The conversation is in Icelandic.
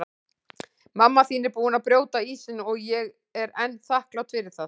Mamma þín er búin að brjóta ísinn og ég er henni þakklát fyrir það.